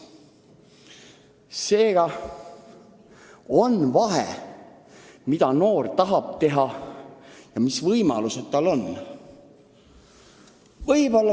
Seega on vahe, mida noor tahab teha ja mis võimalused tal on.